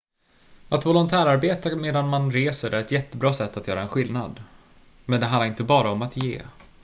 att volontärarbeta medan man reser är ett jättebra sätt att göra en skillnad men det handlar inte bara om att ge